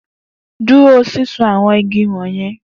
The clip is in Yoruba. Duro sisun awọn igi wọnyẹn!